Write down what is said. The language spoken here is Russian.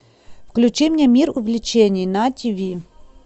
включи мне мир увлечений на тиви